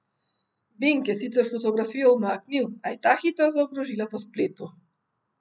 Bing je sicer fotografijo umaknil, a je ta hitro zakrožila po spletu.